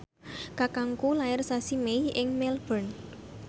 kakangku lair sasi Mei ing Melbourne